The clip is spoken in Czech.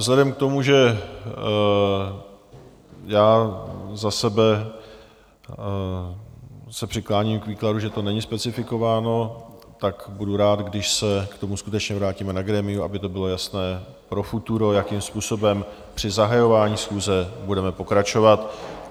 Vzhledem k tomu, že já za sebe se přikláním k výkladu, že to není specifikováno, tak budu rád, když se k tomu skutečně vrátíme na grémiu, aby to bylo jasné pro futuro, jakým způsobem při zahajování schůze budeme pokračovat.